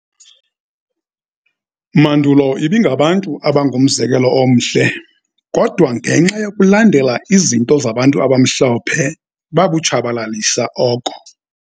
mandulo ibingabantu abangumzekelo omhle, kodwa ngenxa yokulandela izinto zabantu abamhlophe babutshabalalisa oko.